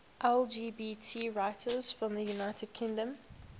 lgbt writers from the united kingdom